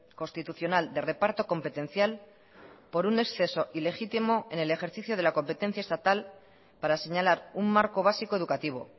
constitucional de reparto competencial por un exceso ilegítimo en el ejercicio de la competencia estatal para señalar un marco básico educativo